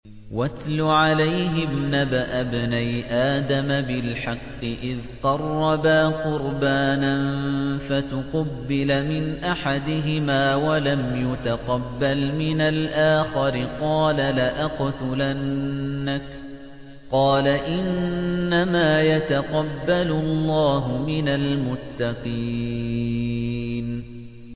۞ وَاتْلُ عَلَيْهِمْ نَبَأَ ابْنَيْ آدَمَ بِالْحَقِّ إِذْ قَرَّبَا قُرْبَانًا فَتُقُبِّلَ مِنْ أَحَدِهِمَا وَلَمْ يُتَقَبَّلْ مِنَ الْآخَرِ قَالَ لَأَقْتُلَنَّكَ ۖ قَالَ إِنَّمَا يَتَقَبَّلُ اللَّهُ مِنَ الْمُتَّقِينَ